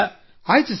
ಆಯ್ತು ಸರ್